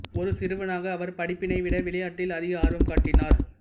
ஒரு சிறுவனாக அவர் படிப்பினை விட விளையாட்டில் அதிக ஆர்வம் காட்டினார்